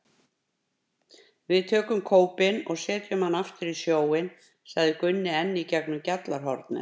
Við tökum kópinn og setjum hann aftur í sjóinn, sagði Gunni enn í gegnum gjallarhornið.